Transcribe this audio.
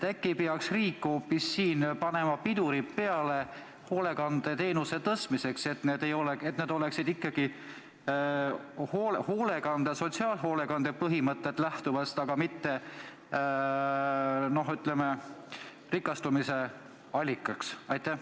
Äkki peaks riik panema hoolekandeteenuse tasu tõstmisele pidurid peale, et see tasu lähtuks ikkagi sotsiaalhoolekande põhimõtetest ega oleks rikastumise allikas?